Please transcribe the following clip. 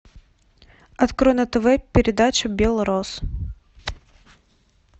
открой на тв передачу белрос